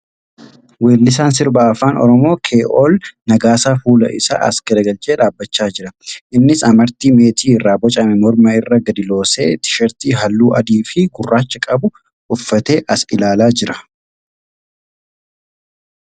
Weellisaan Sirba Afaan Oromoo Kee'ol Nagaasaa fuula isaa as garagalchee dhaabbachaa jira. Innis amartii meetii irraa bocame morma irra gadi loosee tishartii halluu adii fi gurraacha qabu uffatee as ilaalaa jira.